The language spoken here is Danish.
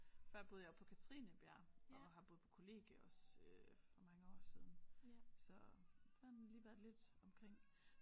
Før boede jeg oppe på Katrinebjerg og har boet på kollegie også øh for mange år siden så sådan lige været lidt omkring